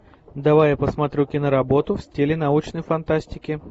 давай я посмотрю киноработу в стиле научной фантастики